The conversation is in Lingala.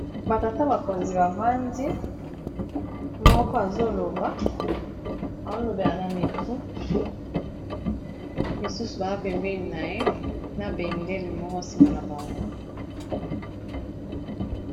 Batata bakonzi, bavandi moko azoloba azô lobela na mikro. Misusu baza pembeni na ye, na bendele moko nsima na bango.